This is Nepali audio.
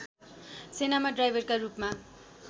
सेनामा ड्राइभरका रूपमा